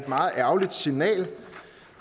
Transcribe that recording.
meget ærgerligt signal